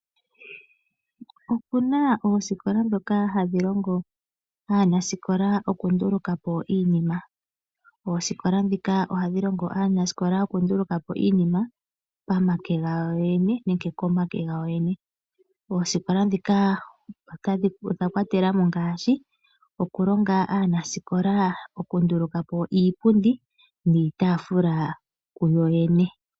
Opuna oosikola ndhoka hadhi longo aanasikola oku nduluka po iinima. Oosikola ndhika ohadhi longo aanasikola oku nduluka po Iinima pa make ga wo yoyene nenge komake gawo yoyene. Oosikola ndhika odha kwatela mo ngaashi; okulonga aanasikola oku nduluka po iipundi niitaafula kuyo yene.